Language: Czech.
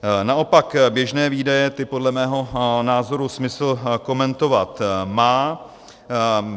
Naopak běžné výdaje, ty podle mého názoru smysl komentovat má.